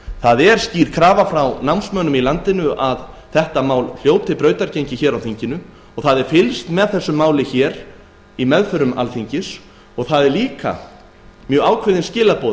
það er skýr krafa frá námsmönnum í landinu að þetta mál hljóti brautargengi hér á þinginu fylgst er með málinu í meðförum alþingis og við fáum ákveðin skilaboð